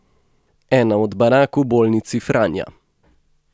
Ena od barak v bolnici Franja.